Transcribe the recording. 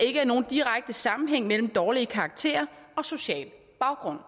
ikke er nogen direkte sammenhæng imellem dårlige karakterer og social baggrund